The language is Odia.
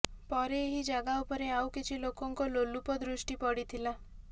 ପରେ ଏହି ଜାଗା ଉପରେ ଆଉ କିଛି ଲୋକଙ୍କ ଲୋଲୁପ ଦୃଷ୍ଟି ପଡ଼ିଥିଲା